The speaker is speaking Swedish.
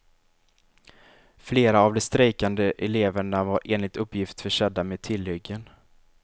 Flera av de strejkande eleverna var enligt uppgift försedda med tillhyggen.